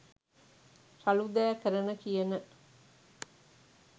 රළු දෑ කරන කියන